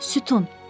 Sütun.